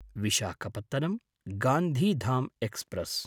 Visakhapatnam Gandhidham express